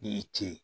Ne ye ce